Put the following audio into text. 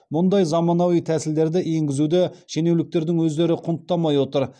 мұндай заманауи тәсілдерді енгізуді шенеуніктердің өздері құнттамай отыр